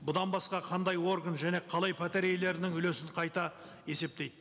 бұдан басқа қандай орган және қалай пәтер иелерінің үлесін қайта есептейді